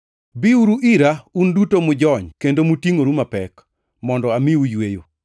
“Biuru ira, un duto mujony kendo motingʼore mapek, mondo amiu yweyo.